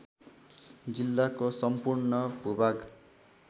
जिल्लाको सम्पूर्ण भूभाग